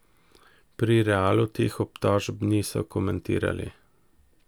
Pri Realu teh obtožb niso komentirali.